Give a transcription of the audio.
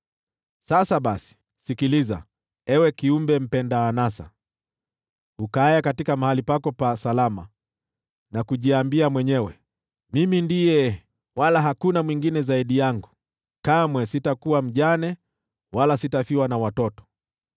“Sasa basi, sikiliza, ewe kiumbe mpenda anasa, ukaaye mahali pako pa salama, na kujiambia mwenyewe, ‘Mimi ndiye, wala hakuna mwingine zaidi yangu. Kamwe sitakuwa mjane, wala sitafiwa na watoto.’